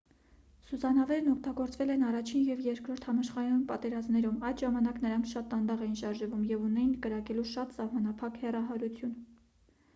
սուզանավերն օգտագործվել են առաջին և երկրորդ համաշխարհային պատերազմներում այդ ժամանակ նրանք շատ դանդաղ էին շարժվում և ունեին կրակելու շատ սահմանափակ հեռահարություն